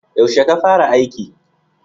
Yaushe ka fara aiki?